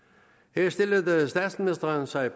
her stillede statsministeren sig